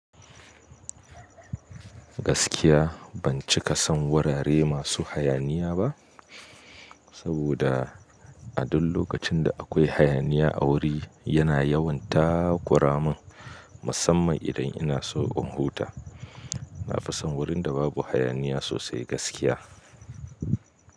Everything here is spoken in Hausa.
Gaskiya ban cika son wurare masu hayaniya ba, saboda a duk lokacin da akwai hayaniya awuri yana yawan ta kura mun, musamman idan ina so in huta. Na fi son wurin da babu hayaniya sosai gaskiya.